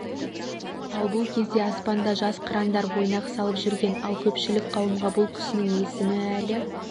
ал бұл кезде аспанда жас қырандар ойнақ салып жүрген ал көпшілік қауымға бұл кісінің есімі әлі